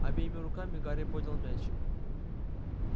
обеими руками гарри поднял меч